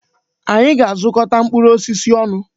Anyị ga-azukọta mkpụrụ osisi ọnụ.